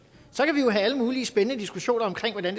så kan vi jo have alle mulige spændende diskussioner